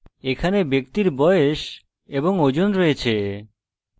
এখানে ব্যক্তির বয়স এবং ওজন রয়েছে